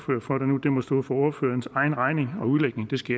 det må stå for ordførerens egen regning og udlægning det skal